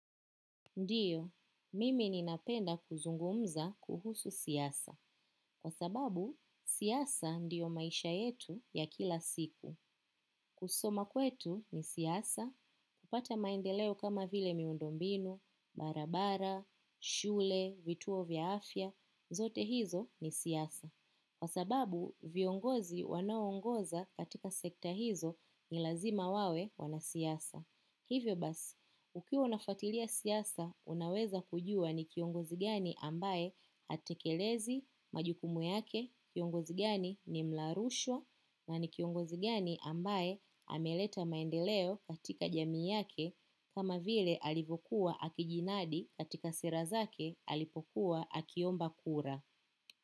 Ndiyo, mimi ninapenda kuzungumza kuhusu siasa. Kwa sababu, siasa ndiyo maisha yetu ya kila siku. Kusoma kwetu ni siasa, kupata maendeleo kama vile miundombinu, barabara, shule, vituo vya afya, zote hizo ni siasa. Kwa sababu, viongozi wanaongoza katika sekta hizo nilazima wawe wanasiasa. Hivyo basi, ukiwa unafatilia siasa, unaweza kujua ni kiongozigani ambaye atekelezi majukumu yake kiongozigani ni mlarushwa na ni kiongozi ambaye ameleta maendeleo katika jamii yake kama vile alivyo kuwa akijidadi katika sera zake alipokuwa akiomba kura.